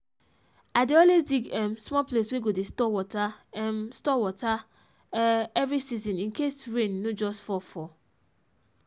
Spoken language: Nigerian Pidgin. i dey always dig um small place wey go dey store water um store water um every season incase rain no just fall for